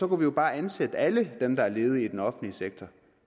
kunne vi bare ansætte alle dem der er ledige i den offentlige sektor